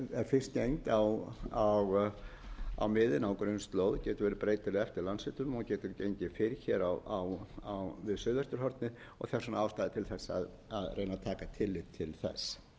miðin á grunnslóð getur verið breytileg eftir landshlutum og getur gengið fyrr hér við suðvesturhornið og þess vegna ástæða til þess að reyna að taka tillit til